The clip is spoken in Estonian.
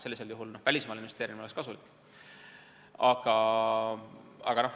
Sellisel juhul oleks välismaale investeerimine kasulik.